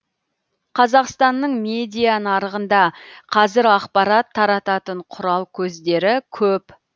қазақстанның медиа нарығында қазір ақпарат тарататын құрал көздері көп